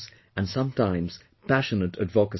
and sometimes passionate advocacy